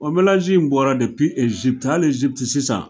O mɛlanzi in bɔra Ejipti, hali Ejipt sisan